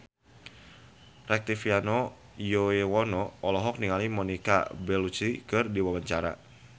Rektivianto Yoewono olohok ningali Monica Belluci keur diwawancara